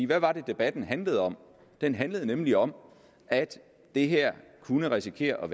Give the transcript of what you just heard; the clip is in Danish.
hvad var det debatten handlede om den handlede nemlig om at det her kunne risikere at